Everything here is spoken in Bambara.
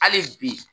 Hali bi